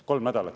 Kolm nädalat.